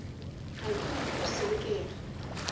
ga ke nyake go selekega